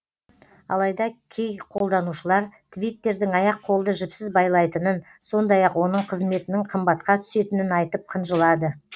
алайда кей қолданушылар твиттердің аяқ қолды жіпсіз байлайтынын сондай ақ оның қызметінің қымбатқа түсетінін айтып қынжылады